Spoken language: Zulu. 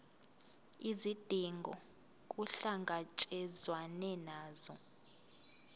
izidingo kuhlangatshezwane nazo